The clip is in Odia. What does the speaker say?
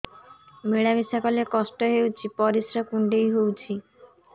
ମିଳା ମିଶା କଲେ କଷ୍ଟ ହେଉଚି ପରିସ୍ରା କୁଣ୍ଡେଇ ହଉଚି